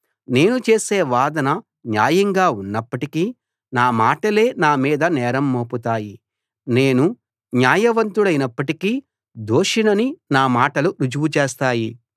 నేను చేసే వాదన న్యాయంగా ఉన్నప్పటికీ నా మాటలే నా మీద నేరం మోపుతాయి నేను న్యాయవంతుడినైప్పటికీ దోషినని నా మాటలు రుజువు చేస్తాయి